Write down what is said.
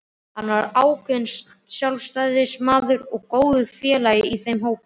Hann var ákveðinn sjálfstæðismaður og góður félagi í þeim hópi.